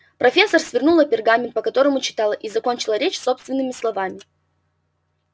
профессор свернула пергамент по которому читала и закончила речь собственными словами